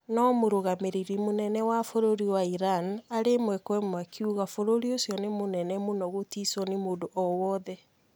No Mũrũgamĩrĩri munene wa bũrũri wa Iran arĩ ĩmwe kwa ĩmwe akiuga bũrũri ũcio ni mũnene mũno gũticwo nĩ mũndũ owothe